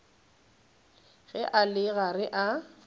ge a le gare a